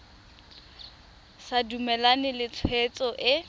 sa dumalane le tshwetso e